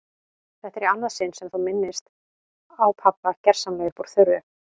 Þetta er í annað sinn sem þú minnist á pabba gersamlega upp úr þurru.